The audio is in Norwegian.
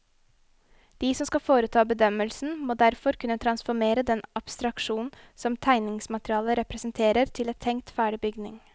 De som skal foreta bedømmelsen, må derfor kunne transformere den abstraksjonen som tegningsmaterialet representerer til en tenkt ferdig bygning.